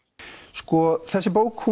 sko þessi bók